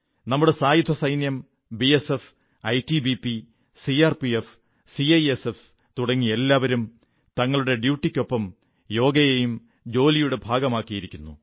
നമ്മുടെ സായുധസൈന്യം BSF ITBP CRPF CISF തുടങ്ങി എല്ലാവരും തങ്ങളുടെ ഡ്യൂട്ടിക്കൊപ്പം യോഗയെയും ജോലിയുടെ ഭാഗമാക്കിയിരിക്കുന്നു